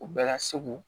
U bɛɛ ka segu